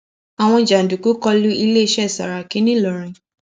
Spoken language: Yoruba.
àwọn jàǹdùkú kọ u iléeṣẹ sàràkí ńìlọrin